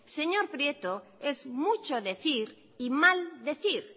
señor prieto es mucho decir y maldecir